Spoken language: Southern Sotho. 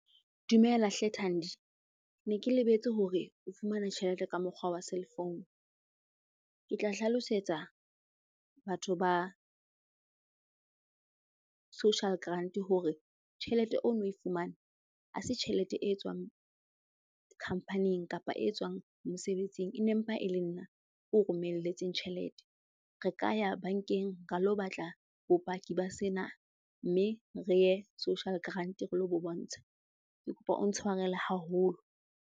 Dumela hle Thandi. Ne ke lebetse hore o fumana tjhelete ka mokgwa wa cell phone. Ke tla hlalosetsa batho ba social grant hore tjhelete o no e fumana, a se tjhelete e tswang khampaning kapa e tswang mosebetsing. E ne mpa e le nna ko romelletseng tjhelete. Re ka ya bankeng ra lo batla bopaki ba sena mme re ye social grant re lo bo bontsha. Ke kopa o ntshwarele haholo.